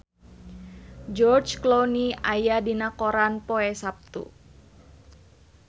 George Clooney aya dina koran poe Saptu